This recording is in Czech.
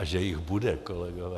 A že jich bude, kolegové.